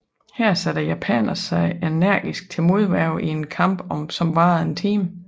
Her satte japanerne sig energisk til modværge i en kamp som varede en time